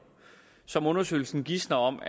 som undersøgelsen gisner om